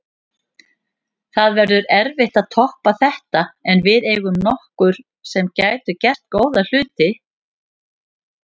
Það verður erfitt að toppa þetta en við eigum nokkur sem gætu gert góða hluti.